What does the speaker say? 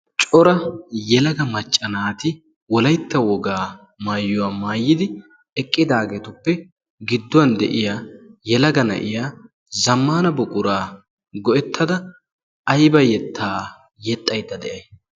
cora yelega macca naati wollaytta wogaa mayuwaa maayidi eqqidaagetuppe gidduwan de'iyaa yelega na'iyaa zammana buquraa go"ettada ayba yettaa yexxayda day?